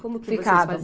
Como que vocês faziam?